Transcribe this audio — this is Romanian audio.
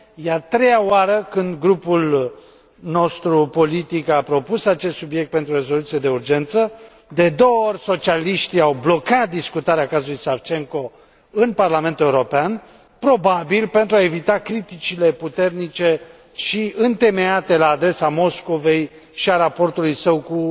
E a treia oară când grupul nostru politic a propus acest subiect pentru rezoluțiile de urgență. De două ori, socialiștii au blocat discutarea cazului Savchenko în Parlamentul European, probabil pentru a evita criticile puternice și întemeiate la adresa Moscovei și a raportului său cu